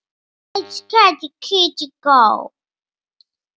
Karl Jóhann Ormsson